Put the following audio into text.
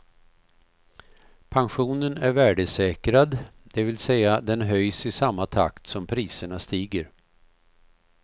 Pensionen är värdesäkrad, det vill säga den höjs i samma takt som priserna stiger.